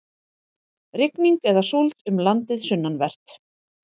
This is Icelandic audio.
Rigning eða súld um landið sunnanvert